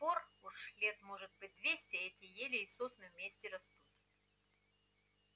с тех пор уже лет может быть двести эти ель и сосна вместе растут